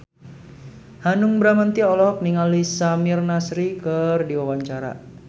Hanung Bramantyo olohok ningali Samir Nasri keur diwawancara